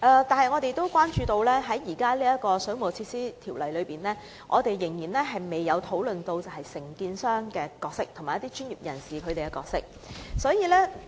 但是，我們也關注到，現行的《水務設施條例》仍未有就承建商及一些相關專業人士的責任作出界定。